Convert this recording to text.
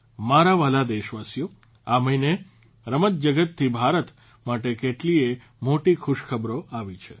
મારા વહાલા દેશવાસીઓ આ મહીને રમતજગતથી ભારત માટે કેટલીય મોટી ખુશખબરો આવી છે